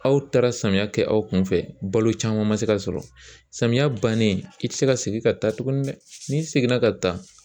Aw taara samiyɛ kɛ aw kunfɛ balo caman ma se ka sɔrɔ samiyɛ bannen i ti se ka segin ka taa tuguni dɛ n'i seginna ka taa